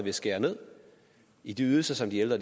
at skære ned i de ydelser som de ældre